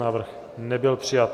Návrh nebyl přijat.